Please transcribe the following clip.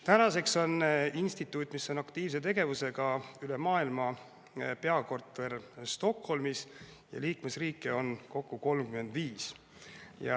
Tänaseks on instituudil, mis tegutseb aktiivselt üle maailma, peakorter Stockholmis ja liikmesriike on tal kokku 35.